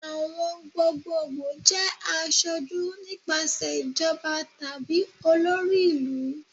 Awọn gbogbogbo jẹ aṣoju nipasẹ ijọba tabi olori ilu